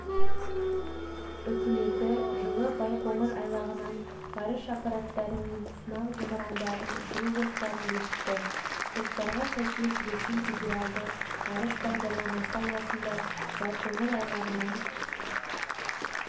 үкіметі жылы байқоңыр айлағынан ғарыш аппараттары мен сынақ зымырандарын ұшыру жоспарын бекітті жоспарға сәйкес ресей федералды ғарыш бағдарламасы аясында байқоңыр айлағынан